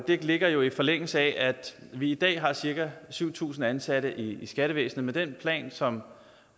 det ligger jo i forlængelse af at vi i dag har cirka syv tusind ansatte i skattevæsenet med den plan som